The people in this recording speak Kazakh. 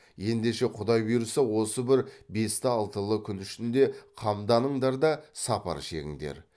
ендеше құдай бұйырса осы бір бесті алтылы күн ішінде қамданыңдар да сапар шегіңдер